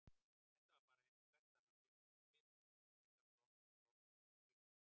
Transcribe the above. Þetta var bara einsog hvert annað fjölskyldufyrirtæki, frekar blómlegt um hríð.